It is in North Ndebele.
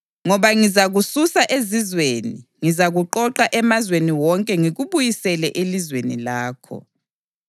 Ngoba ngizakususa ezizweni; ngizakuqoqa emazweni wonke ngikubuyisele elizweni lakho.